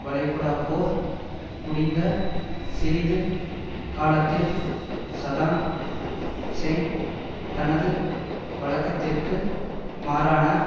வளைகுடாப்போர் முடிந்த சிறிது காலத்தில் சதாம் ஹூசேன் தனது வழக்கத்திற்கு மாறான